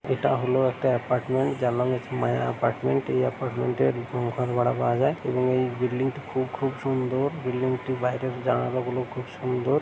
এটা হল একটি অ্যাপার্টমেন্ট যার নাম মায়া এপার্টমেন্ট এই অ্যাপার্টমেন্টের রুম ভাড়া পাওয়া যায় এবং এই বিল্ডিংটি খুব খুব সুন্দর। বিল্ডিংটি বাইরের জানালাগুলো খুব সুন্দর।